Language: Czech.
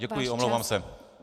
Děkuji, omlouvám se.